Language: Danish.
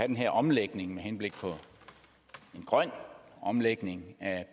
den her omlægning med henblik på en grøn omlægning af